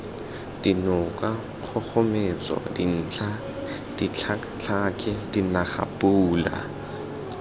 dinoka kgogometso dintlha ditlhakatlhake dinagapula